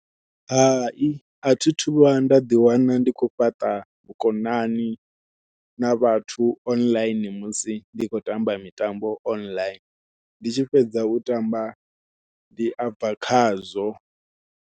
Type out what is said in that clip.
Hai athi thu vhuya nda ḓiwana ndi khou fhaṱa vhukonani na vhathu online musi ndi khou tamba mitambo online ndi tshi fhedza u tamba ndi abva khazwo.